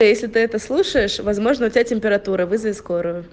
а если ты это слушаешь возможно у тебя температура вызови скорую